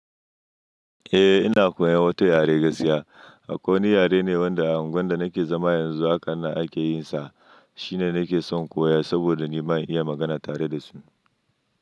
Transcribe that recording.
Eh ina koyan wata yare gaskiya. Akwai wani yare ne wanda unguwar da nake zama yanzu haka nan akeyin sa. Shine nake son koya saboda nima in iya magana tare da su.